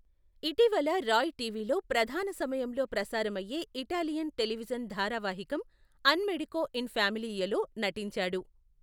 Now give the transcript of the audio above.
ఇటీవల రాయ్ టీవీలో ప్రధాన సమయంలో ప్రసారమయ్యే ఇటాలియన్ టెలివిజన్ ధారావాహికం అన్ మెడికో ఇన్ ఫ్యామిలీయేలో నటించాడు.